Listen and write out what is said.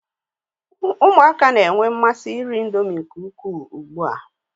ụmụaka n'oge na-amasi iri Indomie nke ukwuu